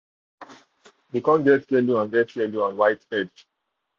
dey um corn get yellow and get yellow and um white head.